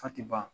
Fa tɛ ban